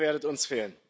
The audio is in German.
Ihr werdet uns fehlen!